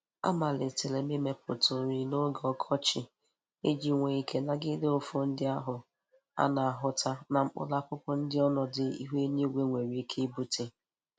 Amalitere m imepụta ori n'oge ọkọchị iji nwee ike nagide nfu ndi ahụ a na-ahụta na mkpụrụ akụkụ nke ọnọdụ ihu eluigwe nwere ike ibute.